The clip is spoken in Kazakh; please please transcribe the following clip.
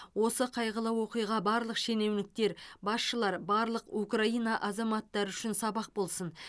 осы қайғылы оқиға барлық шенеуніктер басшылар барлық украина азаматтары үшін сабақ болсын